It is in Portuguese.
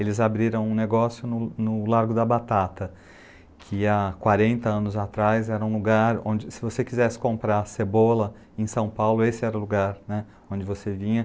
Eles abriram um negócio no no Lago da Batata, que há quarenta anos atrás era um lugar onde, se você quisesse comprar cebola em São Paulo, esse era o lugar né, onde você vinha.